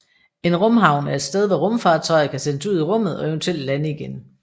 En rumhavn er et sted hvor rumfartøjer kan sendes ud i rummet og eventuelt lande igen